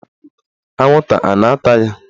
Anwụnta a na-ata ya?